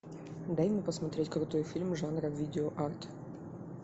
дай мне посмотреть крутой фильм жанра видеоарт